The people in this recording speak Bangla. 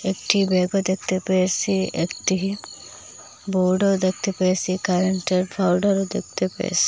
একটি ম্যাপও দেখতে পেয়েছি একটি বোর্ডও দেখতে পেয়েছি কারেন্টের দেখতে পেয়েছি।